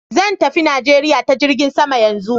Zan tafi Najeriya ta jirgin sama yanzu.